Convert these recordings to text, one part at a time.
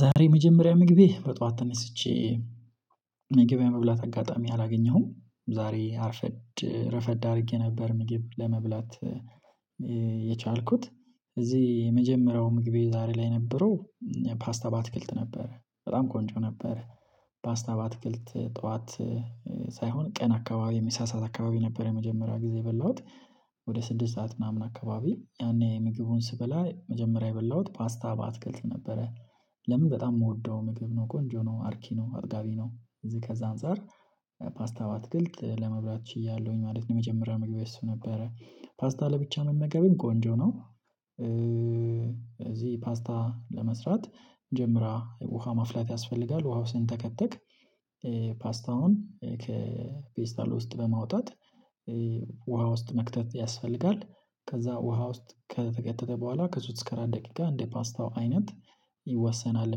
ዛሬ የመጀመሪያ ምግቤ በጧት ተነስቼ ምግግብ የመብላት አጋጣሚ አላገኘሁም። ዛሬ አርፈድ ረፈድ አድርጌ ነበር ምግብ ለመብላት: የቻልኩት። እዚህ የመጀመሪያው ምግቤ ዛሬ ላይ የነበረው- ፓስታ ባትክልት ነበረ። በጣም ቆንጆ ነበረ። ፓስታ በአትክልት ጠዋት- ሳይሆን ቀን አካባቢ የምሳ ሰዓት አካባቢ ነበር የመጀመሪያ ጊዜ የበላሁት። ወደ ስድስት ሰዓት ምናምን አካባቢ ያኔ ምግቡን ስበላ መጀመሪያ የበላሁት ፓስታ በአትክልት ነበረ። ለምን በጣም የምወደው ምግብ ነው። ቆንጆ ነው አርኪ ነው።: አጥጋቢ ነው። ከዛ አንፃር- ፓስታ በአትክልት ለመብራት ችያለሁኝ ማለት ነው። የመጀመሪያ መግቤ እሱ ነበረ። ፓስታ ለብቻ መመገብም ቆንጆ ነው። እዚህ ፓስታ ለመስራት መጀመሪያ ውሃ ማፍላት ያስፈልጋል። ውሃው ሲንተከትክ- ፓስታውን ከፔስታል ውስጥ በማውጣት ውሃ ውስጥ መክተት ያስፈልጋል። ከዛ ውሃ ውስጥ ከተከተተ በኋላ ከሶስት አራት ደቂቃ እንደ ፓስታው አይነት- ይወሰናል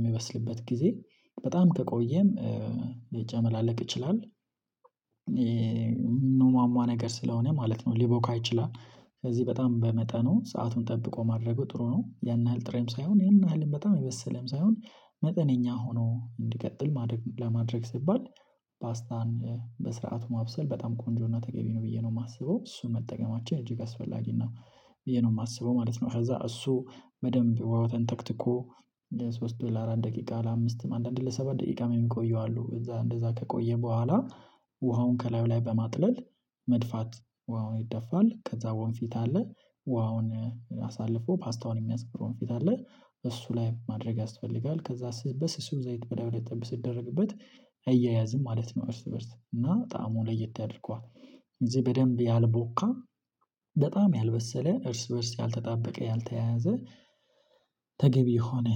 የሚበስልበት ጊዜ። በጣም ከቆየም ሊጨመላለቅ ይችላል። የሚሟሟ ነገር ስለሆነ ማለት ነው ሊቦካ ይችላል። ስዚህ በጣም በመጠኑ ሰአቱን ጠብቆ ማድረጉ ጥሩ ነው። ያን ያህል ጥሬም ሳይሆን ያን ያህልም በጣም የበሰለም ሳይሆን መጠነኛ ሆኖ እንዲቀጥል ማድረግ ለማድረግ ሲባል- ፓስታን በስርዓቱ ማብሰል በጣም ቆንጆ እና ተገቢ ነው ብዬ ነው የማስበው። እሱ መጠቀማችን እጅግ አስፈላጊ ነው ብዬ ነው የማስበው ማለት ነው። ከዛ እሱ በደንብ ውሃው ተንተክትኮ ለሶስት ለአራት ደቂቃ ለአምስት አንዳንድ ለሰባት ደቂቃ የሚቆዩ አሉ። እዛ እንደዛ ከቆየ በኋላ- ውሃውን ከላዩ ላይ በማጥለል መድፋት ውሃውን ይደፋል። ከዛ ወንፊት አለ። ውሃውን አሳልፎ ፓስታውን የሚያስቀር ወንፊት አለ። እሱ ላይ ማድረግ ያስፈልጋል። ከዛ በስሱ ዘይት በላዩ ላይ ጠብ ሲደረግበት እይያያዝም ማለት ነው እርስ በእርስ። እና ጣዕሙ ለየት ያድርገዋል። እዚህ በደንብ ያልቦካ በጣም ያልበሰለ እርስ በእርስ ያልተጣበቀ ያልተያያዘ- ተገቢ የሆነ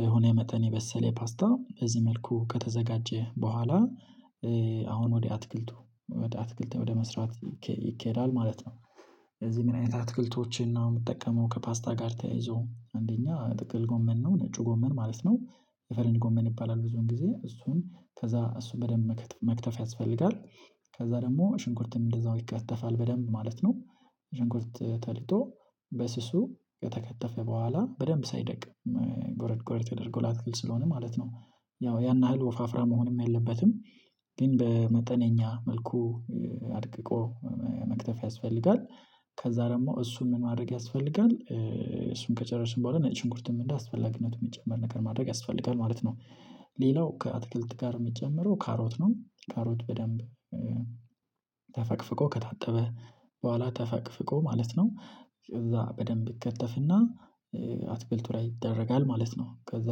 በሆነ መጠን የበሰለ ፓስታ እዚህ መልኩ ከተዘጋጀ በኋላ አሁን ወደ አትክልቱ- ወደ አትክልት ወደ መስራት ይኬዳል ማለት ነው። ለዚህ ምን አይነት አትክልቶችን ነው የምጠቀመው ከፓስታ ጋር ተያይዞ አንደኛ ጥቅል ጎመን ነው። ነጩ ጎመን ማለት ነው። የፈረንጅ ጎመን ይባላል ብዙን ጊዜ። እሱን ከዛ እሱን በደንብ መክተፍ ያስፈልጋል። ከዛ ደግሞ ሽንኩርትም እንደዛው ይከተፋል በደንብ ማለት ነው። ሺንኩርት ተልጦ በስሱ ከተከተፈ በኋላ በደንብ ሳይደቅ ጎረድ ጎረድ ተደርጎ ላትክልት ስለሆነ ማለት ነው። ያው ያን ያህል ወፋፍራም መሆንም የለበትም። ግን በመጠነኛ መልኩ አድቅቆ መክተፍ ያስፈልጋል። ከዛ ደግሞ እሱን ምን ማድረግ ያስፈልጋል እሱን ከጨረስን በኋላ ነጭ ሽንኩርትም እንደ አስፈላጊነትም የሚጨምር ነገር ማድረግ ያስፈልጋል ማለት ነው። ሌላው ከአትክልት ጋር የምትጨምረው ካሮት ነው ካሮት በደንብ- ተፈቅፍቆ ከታጠበ በኋላ ተፈቅፍቆ ማለት ነው። ከዛ በደንብ ይከተፍና አትክልቱ ላይ ይደረጋል ማለት ነው። ከዛ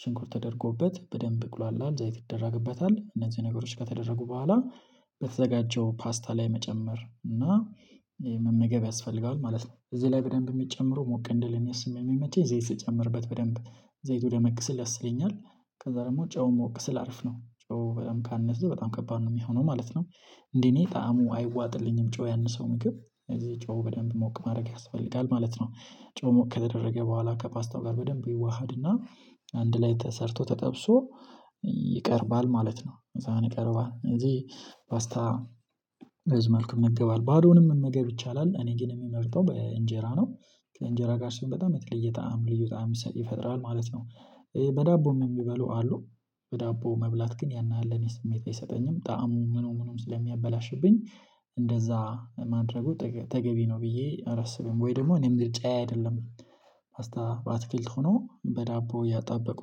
ሽንኩር ተደርጎበት በደንብ ይቁላላል። ዘይት ይደረግበታል። እነዚህ ነገሮች ከተደረጉ በኋላ- በተዘጋጀው ፓስታ ላይ መጨመር እና- መመገብ ያስፈልጋል ማለት ነው። እዚህ ላይ በደንብ የሚጨምረው ሞቅ እንድል እኔ ስለሚመቸኝ ዘይት ስጨምርበት በደንብ ዘይቱ ደመቅ ሲል ደስ ይለኛል። ከዛ ደግሞ ጨውም ሞቅ ሲል አሪፍ ነው። ጨው በጣም ካነዘሰ በጣም ከባድ ነው የሚሆነው ማለት ነው። እንዴ እኔ ጣዕሙ አይዋጥልኝም ጨው ያነሰው ምግብ። ስዚህ ጨው በደንብ ሞቅ ማድረግ ያስፈልጋል ማለት ነው። ጨው ሞቅ ከተደረገ በኋላ ከፓስታው ጋር በደንብ ይዋሃድና አንድ ላይ ተሰርቶ ተጠብሶ ይቀርባል ማለት ነው። በሳን ይቀርባል እንጂ ፓስታ- መልኩ እንገባለን። ባዶውንም መገብ ይቻላል። እኔ ግን የምመርጠው በእንጀራ ነው። ከእንጀራ ጋር ሲሆን በጣም የተለየ ጣዕም ልዩ ጣዕም ይፈጥራል ማለት ነው። በዳቦም የሚበሉ አሉ። በዳቦ መብላት ግን ያን ያህል ለእኔ ስሜት አይሰጠኝም። ጣዕሙ ምኑ ምኑም ስለሚያበላሽብኝ እንደዛ ማድረጉ ተገቢ ነው ብዬ አላስብም። ወይ ደግሞ እኔ ምርልጫ አይደለም። ፓስታ በአትክልት ሆኖ በዳቦ እያጣበቁ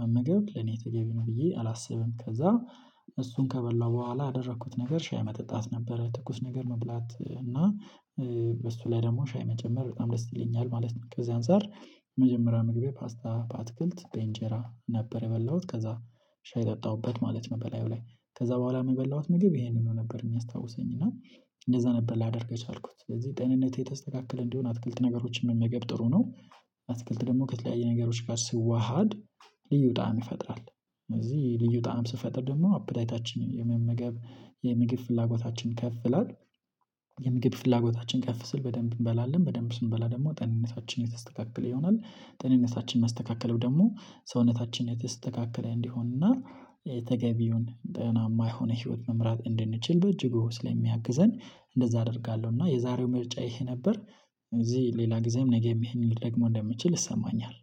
መመገብ ለኔ ትገቢ ነው ብዬ አላስብም። ከዛ- እሱን ከበላሁ በኋላ ያደረኩት ነገር ሻይ መጠጣት ነበረ። ትኩስ ነገር መብላት እና- በሱ ላይ ደግሞ ሻይ መጨመር በጣም ደስ ይለኛል ማለት ነው። ከዚህ አንፃር- መጀመሪያ ምግቤ ፓስታ ባትክልት በእንጀራ ነበር የበላሁት። ከዛ- ሻይ ጠጣሁበት ማለት ነው በላዩ ላይ። ከዛ በኋላም የበላሁት ምግብ ይሄንኑ ነበር የሚያስታውሰኝ። እና እንደዛ ነበር ላደርግ የቻልኩት ስለዚህ ጤንነት የተስተካከለ እንዲሆን አትክልት ነገሮችን መመገብ ጥሩ ነው። አትክልት ደግሞ ከተለያዩ ነገሮች ጋር ሲዋሃድ: ልዩ ጣዕም ይፈጥራል። ስዚህ ልዩ ጣዕም ሲፈጥር ደግሞ አፕታይታችን የመመገብ የምግብ ፍላጎታችን ከፍ ይላል። የምግብ ፍላጎታችን ከፍ ሲል በደንብ እንበላለን። በደንብ ስንበላ ደግሞ ጤንነታችንን የተስተካከለ ይሆናል። ጤንነታችን መስተካከሉ ደግሞ- ሰውነታችን የተስተካከለ እንዲሆንና ተገቢውን ጠናማ የሆነ ህይወት መምራት እንድንችል በእጅጉ ስለሚያግዘን እንደዛ አደርጋለሁ። እና የዛሬው ምርጫ ይሄ ነበር። ስዚህ ሌላ ጊዜም ነገም ይሄንን ልደግመው እንደምችል ይሰማኛል።